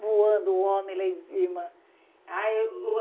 voando o homem lá em cima. A eu